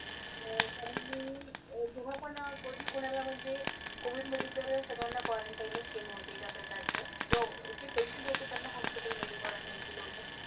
अह कारण मी जेव्हा पण कधी कोणाला म्हणजे कोविडमध्ये तर सगळ्यांना क्वरनटाईन च केलं होतं एका प्रकारचं. जो जे पेशन्ट होते त्यांना हॉस्पिटल मधे क्वरनटाईन केलं होतं.